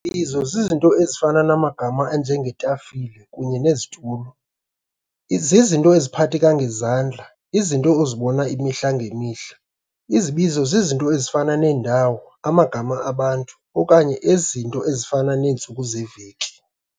Izibizo z'izinto' ezifana namagama anjenge'tafile kunye ne'situlo'. zizizinto eziphatheka ngezandla, izinto ozibona imihla ngemihla. Izibizo zezinto ezifana neendawo, amagama abantu, okanye ezinye izinto ezifana neentsuku zeveki.